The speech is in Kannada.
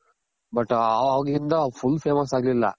but ಅವಾಗ್ಲಿಂದ full famous ಆಗ್ಲಿಲ್ಲ